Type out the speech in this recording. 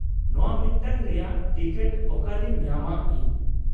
ᱱᱚᱶᱟ ᱢᱤᱫᱴᱟᱝ ᱨᱮᱭᱟᱜ ᱴᱤᱠᱤᱴ ᱚᱠᱟᱨᱮᱧ ᱧᱟᱢᱟ ᱤᱧ ?